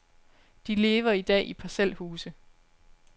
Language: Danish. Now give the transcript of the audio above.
De lever i dag i parcelhuse.